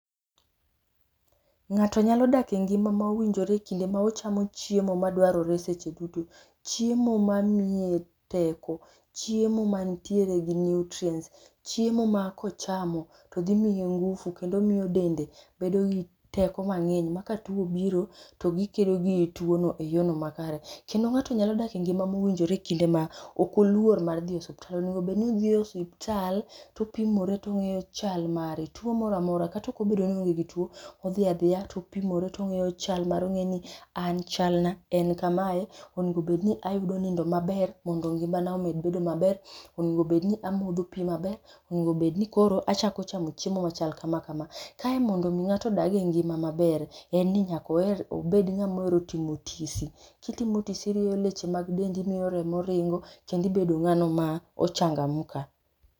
Ng'ato nyalo dak e ngima ma owinjore kinde ma ochamo chiemo madwarore seche duto. Chiemo ma miye teko, chiemo mantiere gi nutrients, chiemo ma kochamo to dhimiye ngufu kendo miyo dende bedo gi teko mang'eny ma katuo obiro, to gikedo gi tuo no e yono makare. Kendo ng'ato nyalo dak e ngima mowinjore kinde ma, ok oluor mar dhi e osiptal onego bedni odhi e osiptal, topimore tong'eyo chal mare tuo mora amora kata ok obedo ni oonge gi tuo, odhi adhiya topimore tong'eyo chal mare ong'e ni, an chal na en kamae, onego bedni ayudo nindo maber mondo ngimana omed bedo maber, onego bedni amodho pi maber, onego bedni koro achako chamo chiemo machal kama kama. Kae mondo mi ng'ato odag e ngima maber, en ni nyaka oher obed ng'ama ohero timo tisi, kitimo tisi irieyo leche mag dendi miyo remo ringo kendi ibedo ng'ano ma o changamka